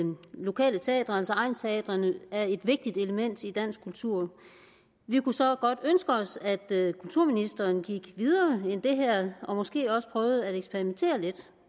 lokale teatre altså egnsteatrene er et vigtigt element i dansk kultur vi kunne så godt ønske os at kulturministeren gik videre end det her og måske også prøvede at eksperimentere lidt